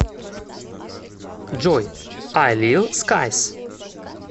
джой ай лил скайс